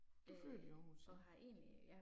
Du født i Aarhus så